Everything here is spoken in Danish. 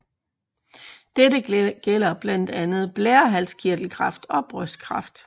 Dette gælder blandt andet blærehalskirtelkræft og brystkræft